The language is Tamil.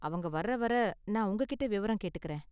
அவங்க வர்ற வரை நான் உங்ககிட்ட விவரம் கேட்டுக்கறேன்.